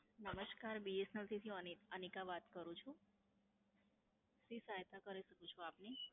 નમસ્કાર BSNL થી અની, અનીકા વાત કરું છું. શી સહાયતા કરી શકું છું આપની?